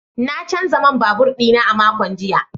Na canza man babur dina a makon jiya.